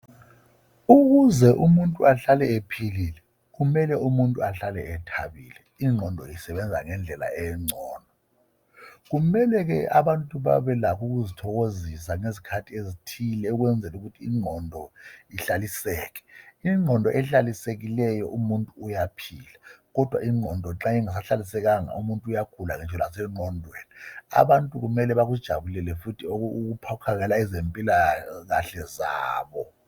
Ukuze umuntu ahlale ephilile kumele umuntu ahlale ethabile ingqondo isebenza ngendlela engcono, kumele abantu babelakho ukuzithokozisa ngezikhathi ezithile ukwenzela ukuthi ingqondo ihlaliseke. Ingqondo ehlalisekileyo umuntu uyaphila, kodwa nxa ingqondo ingahlalisekanga umuntu uyagula ngasengqondweni. Abantu kumele bakujabulele ukuhlaliseka kuhle kwezempilakahle zabo.